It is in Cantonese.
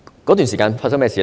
當時發生甚麼事呢？